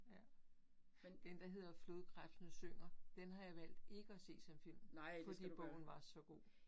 Ja, den, der hedder Flodkrebsene Synger den har jeg valgt ikke at se som film, fordi bogen var så god